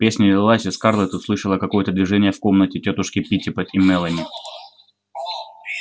песня лилась и скарлетт услышала какое-то движение в комнате тётушки питтипэт и мелани